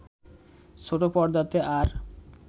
ছোটপর্দাতে আর